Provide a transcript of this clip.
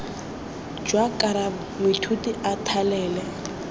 jwa karabo moithuti a thalele